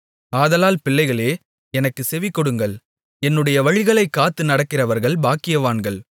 ஆதலால் பிள்ளைகளே எனக்குச் செவிகொடுங்கள் என்னுடைய வழிகளைக் காத்து நடக்கிறவர்கள் பாக்கியவான்கள்